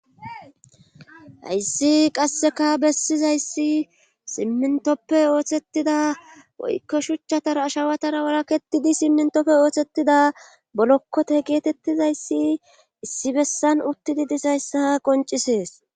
hayssi qasseka bessizayssi simmintoppe ooththetida woykko shuchchatara ashawatara waraketidi simmintoppe ooththetida bollokkote geetettizayssi issi bessan uuttidii disayssa qoncisees